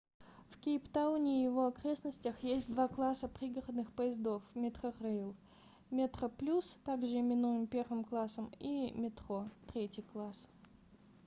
в кейптауне и его окрестностях есть два класса пригородных поездов metrorail: metroplus также именуемый первым классом и metro третий класс